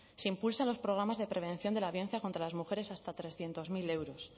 se impulsan los programas de prevención de la violencia contra las mujeres hasta trescientos mil euros